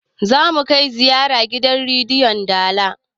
zamu kai ziyara gidan rediyon dala